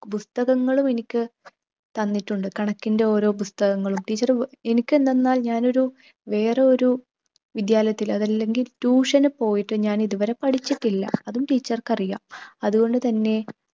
പുസ്തകങ്ങളും എനിക്ക് തന്നിട്ടുണ്ട്. കണക്കിൻ്റെ ഓരോ പുസ്തകങ്ങളും, teacher ഏർ എനിക്കെന്തെന്നാൽ ഞാനൊരു വേറൊരു വിദ്യാലയത്തിൽ അതല്ലെങ്കിൽ tuition നു പോയിട്ട് ഞാനിതുവരെ പഠിച്ചിട്ടില്ല. അതും teacher ക്ക് അറിയാം. അതുകൊണ്ട് തന്നെ